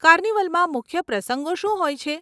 કાર્નિવલમાં મુખ્ય પ્રસંગો શું હોય છે?